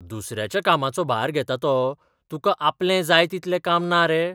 दुसऱ्याच्या कामाचो भार घेता तो, तुका आपलें जाय तितलें काम ना रे?